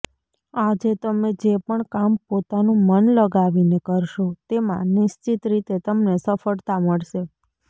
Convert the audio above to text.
આજે તમે જે પણ કામ પોતાનું મન લગાવીને કરશો તેમાં નિશ્ચિત રીતે તમને સફળતા મળશે